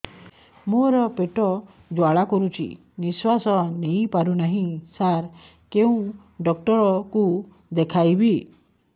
ମୋର ପେଟ ଜ୍ୱାଳା କରୁଛି ନିଶ୍ୱାସ ନେଇ ପାରୁନାହିଁ ସାର କେଉଁ ଡକ୍ଟର କୁ ଦେଖାଇବି